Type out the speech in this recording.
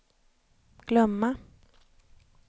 glömma